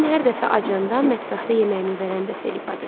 Mən hər dəfə acanda mətbəxdə yeməyimi verən də Felipadır.